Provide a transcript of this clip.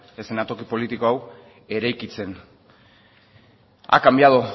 eszenatoki politiko hau eraikitzen ha cambiado